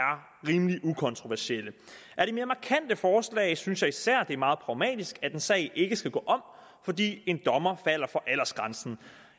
rimelig ukontroversielle af de mere markante forslag synes jeg især det er meget pragmatisk at en sag ikke skal gå om fordi en dommer falder for aldersgrænsen